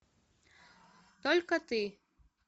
только ты